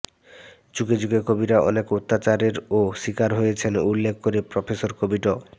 যুগে যুগে কবিরা অনেক অত্যাচারেরও শিকার হয়েছেন উল্লেখ করে প্রফেসর কবি ড